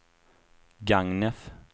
Gagnef